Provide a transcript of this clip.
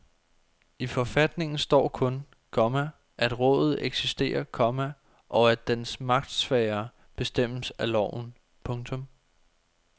I forfatningen står kun, komma at rådet eksisterer, komma og at dens magtsfære bestemmes af loven. punktum